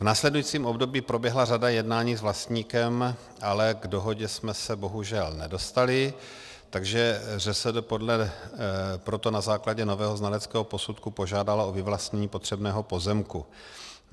V následujícím období proběhla řada jednání s vlastníkem, ale k dohodě jsme se bohužel nedostali, takže ŘSD proto na základě nového znaleckého posudku požádalo o vyvlastnění potřebného pozemku.